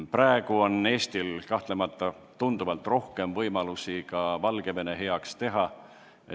Praegu on Eestil kahtlemata tunduvalt rohkem võimalusi midagi Valgevene heaks ära teha.